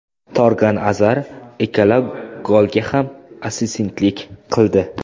Torgan Azar ikkala golga ham assistentlik qildi.